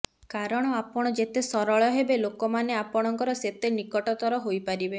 କାରଣ ଆପଣ ଯେତେ ସରଳ ହେବେ ଲୋକାମନେ ଆପଣଙ୍କର ସେତେ ନିକଟତର ହୋଇପାରିବେ